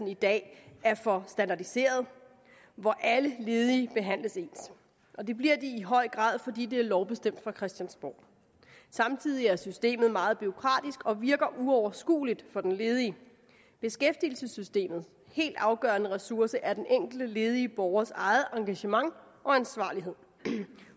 i dag er for standardiseret alle ledige behandles ens og det bliver de i høj grad fordi det er lovbestemt fra christiansborg samtidig er systemet meget bureaukratisk og virker uoverskueligt for den ledige beskæftigelsessystemets helt afgørende ressource er den enkelte ledige borgers eget engagement og ansvarlighed